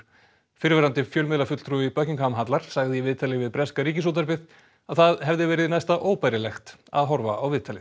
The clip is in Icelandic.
fyrrverandi fjölmiðlafulltrúi Buckingham hallar sagði í viðtali við breska Ríkisútvarpið að það hefði verið næsta óbærilegt að horfa á viðtalið